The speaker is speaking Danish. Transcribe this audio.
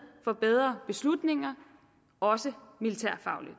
for bedre beslutninger også militærfagligt